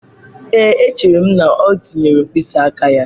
Ee, echere m na O tinyere mkpịsị aka ya.